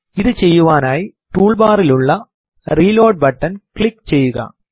ഇത് ചെയ്യുവാനായി ടൂൾ ബാറിൽ ഉള്ള റിലോഡ് ബട്ടൺ ക്ലിക്ക് ചെയ്യുക